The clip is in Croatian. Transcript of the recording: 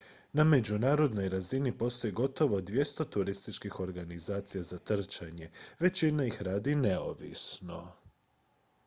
na međunarodnoj razini postoji gotovo 200 turističkih organizacija za trčanje većina ih radi neovisno